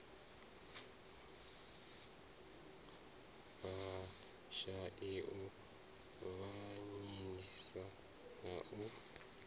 vhashai u avhanyisa na u